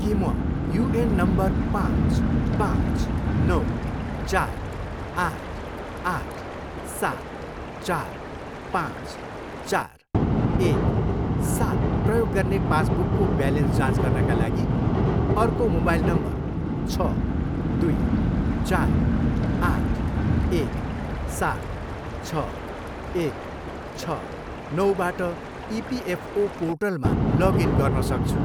के म UAN number पाँच, पाँच, नौ, चार, आठ, आठ, सात, चार, पाँच, चार, एक, सात प्रयोग गर्ने पासबुकको ब्यालेन्स जाँच गर्नका लागि अर्को मोबाइल नम्बर छ, दुई, चार, आठ, एक, सात, छ, एक, छ, नौबाट इपिएफओ पोर्टलमा लगइन गर्न सक्छु?